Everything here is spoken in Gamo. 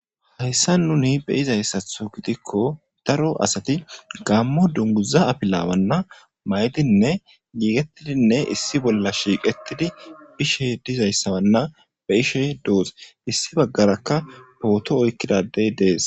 Hayssa nuni be izayssatho gidikko daro asati gammo dunguza apilawanna may'dinne yiiqetidinne issi bolla shiiqettidi bishe dizayssawanna be ishe doos issi baggarakka pooto oykkidadey dees.